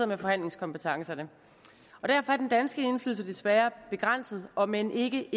med forhandlingskompetencerne og derfor er den danske indflydelse desværre begrænset om end ikke